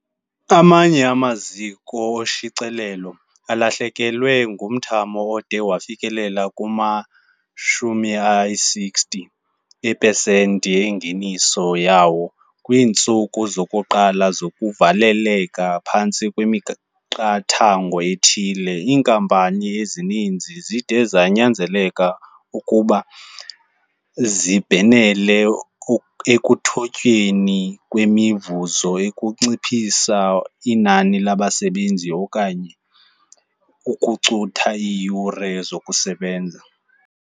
Amanye amaziko oshicilelo alahlekelwe ngumthamo ode wafikelela kuma-60 eepesenti engeniso yawo kwiintsuku zokuqala zokuvaleleka phantsi kwemiqathango ethile. Iinkampani ezininzi zide zanyanzeleka ukuba zibhenele ekuthotyweni kwemivuzo, ukunciphisa inani labasebenzi okanye ukucutha iiyure zokusebenza.